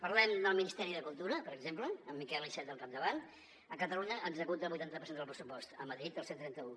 parlem del ministeri de cultura per exemple amb miquel iceta al capdavant a catalunya executa el vuitanta per cent del pressupost a madrid el cent i trenta un